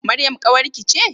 Maryam ƙawarki ce?